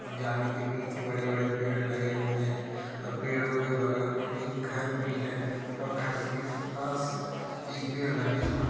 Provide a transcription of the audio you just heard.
और जाली के पीछे बड़े-बड़े पेड़ लगे हुए हैं और पेड़ों के बगल में एक घर भी है और घर के पास ही पेड़ लगे हुए --